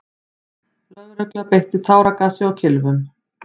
Lögregla beitti táragasi og kylfum.